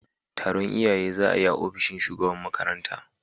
taron iyaye za a yi a ofishin shugaban makaranta.